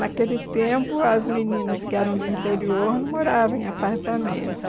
Naquele tempo, as meninas que eram do interior não moravam em apartamentos.